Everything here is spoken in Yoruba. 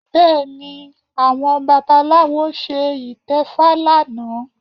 Bẹ́ẹ̀ni, àwọn babaláwo ṣe ìtẹfa lánàá